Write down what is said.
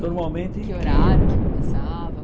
Normalmente... Que horário que começava?